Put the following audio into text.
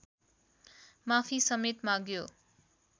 माफी समेत माग्यो